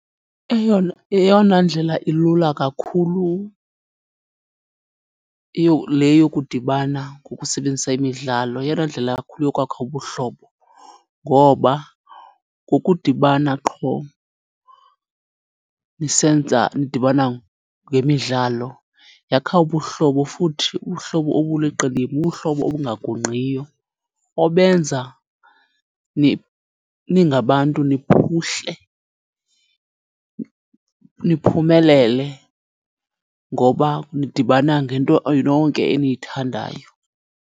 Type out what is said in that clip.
Eyona, eyona ndlela ilula kakhulu le yokudibana ngokusebenzisa imidlalo, yeyona ndlela kakhulu yokwakha ubuhlobo. Ngoba ngokudibana qho nisenza, nidibana ngemidlalo yakha ubuhlobo futhi ubuhlobo obuliqilima, ubuhlobo obungagungqiyo obenza ningabantu niphuhle, niphumelele ngoba nidibana ngento nonke eniyithandayo.